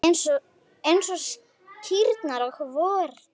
Eins og kýrnar á vorin!